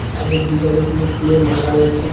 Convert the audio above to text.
Side -এর দিকে অনেকগুলো ফুলের মালা রয়েছে।